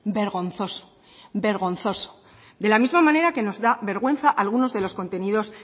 vergonzoso vergonzoso de la misma manera que nos da vergüenza algunos de los contenidos